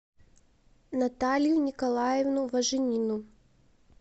наталью николаевну важенину